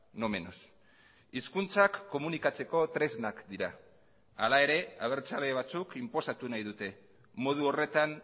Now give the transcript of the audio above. no menos hizkuntzak komunikatzeko tresnak dira hala ere abertzale batzuk inposatu nahi dute modu horretan